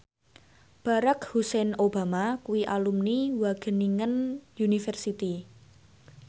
Barack Hussein Obama kuwi alumni Wageningen University